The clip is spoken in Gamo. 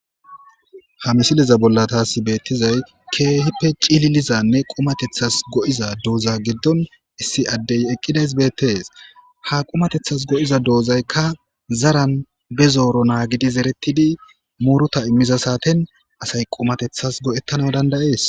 Ha misile bollani tasi betizayi kehipe cilili gizanee qumatethasi go'za dozza giddoni issi adeyi eqidezi betesi. Ha qumatethasi go'idaa dozayikka zara be zerro nagidi zeretidi muruta imida sateni assayi qumatethasi go'etanuwu danidayesi.